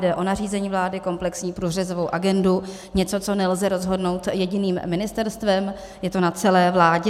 Jde o nařízení vlády, komplexní průřezovou agendu, něco, co nelze rozhodnout jedním ministerstvem, je to na celé vládě.